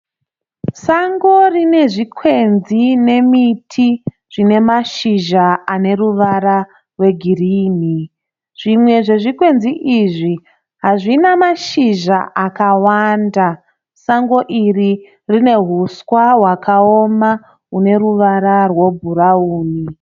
Sango rine zvikwenzi nemiti zvine mashizha aneruvara rwegirini. Zvimwe zvezvikwenzi izvi hazvina mashizha akawanda. Sango iri rine huswa hwakaoma hune ruvara rwebhurawuni.